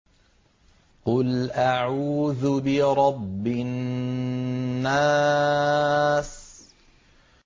قُلْ أَعُوذُ بِرَبِّ النَّاسِ